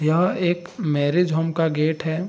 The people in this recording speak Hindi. यह एक मैरेज होम का गेट है।